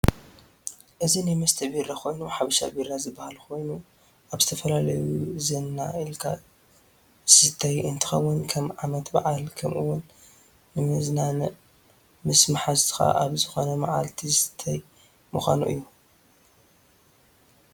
እዚ ናይ መስተ ቢራ ኮይኑ ሓበሻ ቢራ ዝበሃል ኮይኑ ኣብ ዝተፈላለየ ዘና ኢልካ ዝስተይ እንትከውን ከም ዓመት በዓል ከም እውን ንመዘናገዕ ምስ መሓዝትካ ኣብ ዝኮነ መዓልቲ ዝስተይ ምኳኑ እዩ።